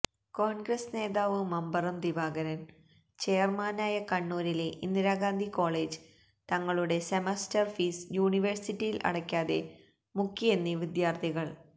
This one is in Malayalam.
കോണ്ഗ്രസ് നേതാവ് മമ്പറം ദിവാകരന് ചെയര്മാനായ കണ്ണൂരിലെ ഇന്ദിരാഗാന്ധി കോളേജ് തങ്ങളുടെ സെമസ്റ്റര് ഫീസ് യൂണിവേഴ്സിറ്റിയിൽ അടയ്ക്കാതെ മുക്കിയെന്ന് വിദ്യാര്ത്ഥികള്